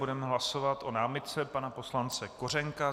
Budeme hlasovat o námitce pana poslance Kořenka.